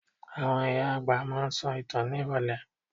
Àwọn ìyá àgbà máa ń sọ ìtàn ní ìrọ̀lẹ́.